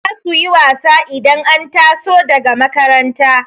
zasuyi wasa idan an taso daga makaranta